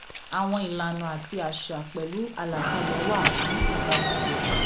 àwọn ìlànà àti àṣà pẹlú àlàkálẹ wà fún ọba jíjẹ